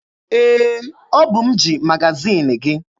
Ee, ọ bụ m ji magaziini gị.